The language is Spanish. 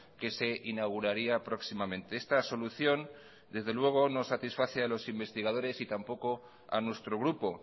que se inauguraría próximamente esta solución desde luego no satisface a los investigadores y tampoco a nuestro grupo